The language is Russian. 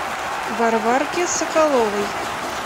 варварке соколовой